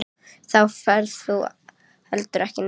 Þá ferð þú heldur ekki neitt.